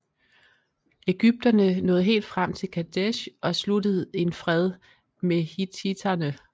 Ægypterne nåede helt frem til Kadesh og sluttede en fred med hittitterne